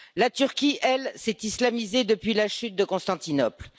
La Turquie, elle, s'est islamisée depuis la chute de Constantinople.